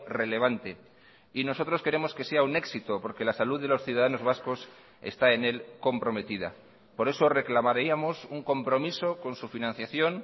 relevante y nosotros queremos que sea un éxito porque la salud de los ciudadanos vascos está en él comprometida por eso reclamaríamos un compromiso con su financiación